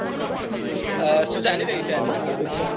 અ શું ચાલી રહ્યું છે આજકાલ